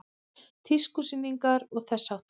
Tískusýningar og þess háttar?